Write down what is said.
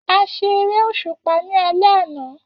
A ṣe eré òṣùpá ní alé àná